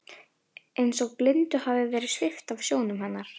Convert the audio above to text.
Eins og blindu hafi verið svipt af sjónum hennar.